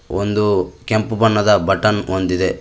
ಒಂದು ಕೆಂಪು ಬಣ್ಣದ ಬಟನ್ ಹೊಂದಿದೆ.